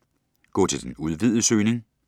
Gå til den udvidede søgning